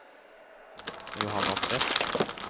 Johanna Tvedt